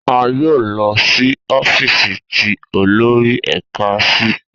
A yoo lọ si ọfiisi ti olori ẹka si.